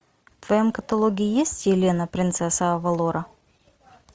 в твоем каталоге есть елена принцесса авалора